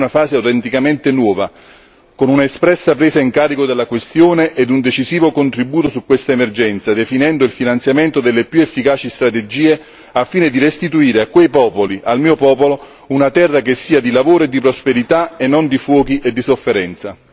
Chiedo al Commissario europeo per l'ambiente che si avvii una fase autenticamente nuova con un'espressa presa in carico della questione ed un decisivo contributo su queste emergenze, definendo il finanziamento delle più efficaci strategie, al fine di restituire a quei popoli, al mio popolo, una terra che sia di lavoro e di prosperità e non di fuochi e di sofferenza.